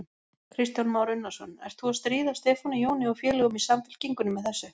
Kristján Már Unnarsson: Ert þú að stríða Stefáni Jóni og félögum í Samfylkingunni með þessu?